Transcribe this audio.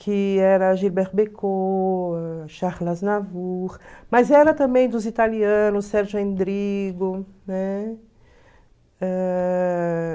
Que era Gilbert Bécaud, Charles Aznavour, mas era também dos italianos, Sergio Endrigo, né? Ãh...